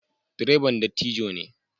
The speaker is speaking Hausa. Direban dattijo ne.